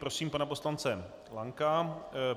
Prosím pana poslance Lanka.